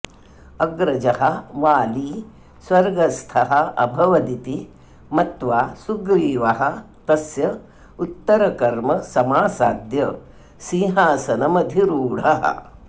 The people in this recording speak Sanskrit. अग्रजः वाली स्वर्गस्थोऽभवदिति मत्वा सुग्रीवः तस्य उत्तरकर्म समासाद्य सिंहासनमधिरूढः